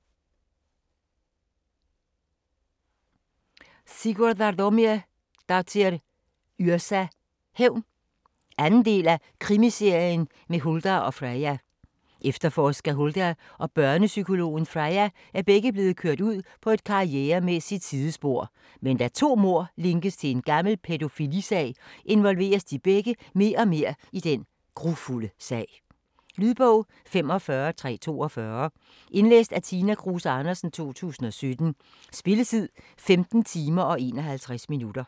Yrsa Sigurðardóttir: Hævn 2. del af Krimiserien med Huldar og Freyja. Efterforsker Huldar og børnepsykologen Freyja er begge blevet kørt ud på et karrieremæssigt sidespor, men da to mord linkes til en gammel pædofilisag involveres de begge mere og mere i den grufulde sag. Lydbog 45342 Indlæst af Tina Kruse Andersen, 2017. Spilletid: 15 timer, 51 minutter.